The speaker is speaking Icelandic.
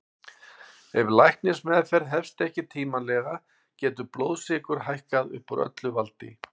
Ef læknismeðferð hefst ekki tímanlega getur blóðsykur hækkað upp úr öllu valdi.